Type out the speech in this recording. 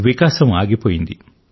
వికాసం ఆగిపోయింది